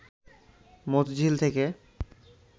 মতিঝিল থেকে